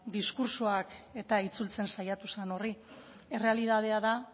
diskurtsoak eta itzultzen saiatu zen horri errealitatea da